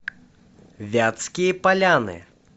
вятские поляны